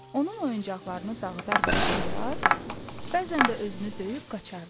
Onun oyuncaqlarını dağıdar və sındırar, bəzən də özünü döyüb qaçaırdı.